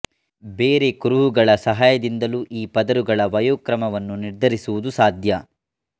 ಬೇರೆ ಕುರುಹಗಳ ಸಹಾಯದಿಂದಲೂ ಈ ಪದರುಗಳ ವಯೋಕ್ರಮವನ್ನು ನಿರ್ಧರಿಸುವುದು ಸಾಧ್ಯ